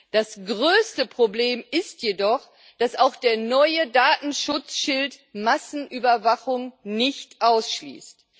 Das größte Problem ist jedoch, dass auch der neue Datenschutzschild Massenüberwachung nicht ausschließt.